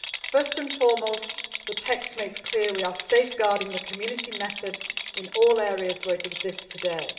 First and foremost, the text makes clear that we are safeguarding the Community method in all areas where it exists today.